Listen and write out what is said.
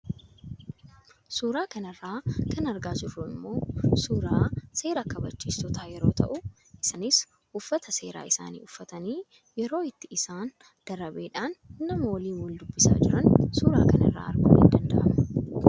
Suuraa kanarraa kan argaa jirru immoo suuraa seera kabajiistootaa yeroo tahu isaaniis uffata seeraa isaanii uffatanii yeroo itti isaan darabeedhaan nama waliin wal dubbisaa jiran suura kana irraa arguun in danda'ama.